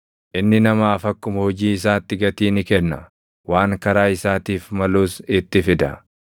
Inni namaaf akkuma hojii isaatti gatii ni kenna; waan karaa isaatiif malus itti fida.